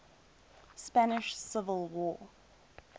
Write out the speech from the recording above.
spanish civil war